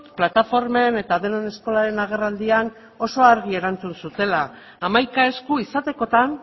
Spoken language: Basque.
plataformen eta denon eskolaren agerraldian oso argi erantzun zutela hamaika esku izatekotan